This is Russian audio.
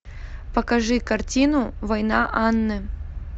покажи картину война анны